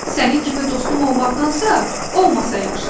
"Sənin kimi dostum olmaqdansa, olmasa yaxşıdır!"